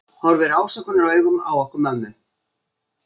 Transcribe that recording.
Horfir ásökunaraugum á okkur mömmu.